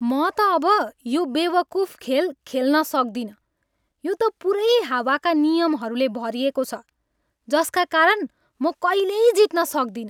म त अब यो बेवकुफ खेल खेल्न सक्दिनँ। यो त पुरैै हावाका नियमहरूले भरिएको छ जसका कारण म कहिल्यै जित्न सक्दिनँ।